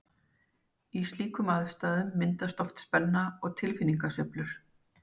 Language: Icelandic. Í slíkum aðstæðum myndast oft spenna og tilfinningasveiflur.